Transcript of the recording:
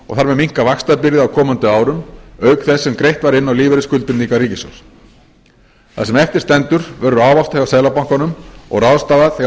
og þar með minnka vaxtabyrði á komandi árum auk þess sem greitt var inn á lífeyrisskuldbindingar ríkissjóðs það sem eftir stendur verður ávaxtað hjá seðlabankanum og ráðstafað þegar